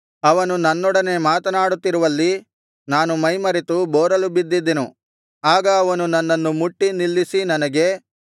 ಅವನು ನನ್ನೊಡನೆ ಮಾತನಾಡುತ್ತಿರುವಲ್ಲಿ ನಾನು ಮೈಮರೆತು ಬೋರಲು ಬಿದ್ದಿದ್ದೆನು ಆಗ ಅವನು ನನ್ನನ್ನು ಮುಟ್ಟಿ ನಿಲ್ಲಿಸಿ ನನಗೆ